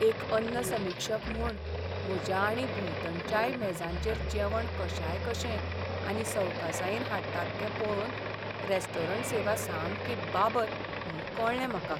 एक अन्न समिक्षक म्हूण, म्हज्या आनी भोंवतणच्याय मेजांचेर जेवण कशायकशें आनी सवकासायेन हाडटात तें पळोवन रेस्टॉरंट सेवा सामकी बाबत म्हूण कळ्ळें म्हाका.